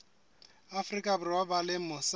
afrika borwa ba leng mose